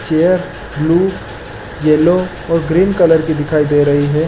Chair blue yellow और green colour की दिखाई दे रही हैं ।